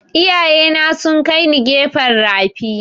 Iyaye na sun kai ni gefen rafi